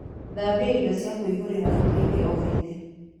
Thambia indo cia kũihũrĩra hĩndĩ o hĩndĩ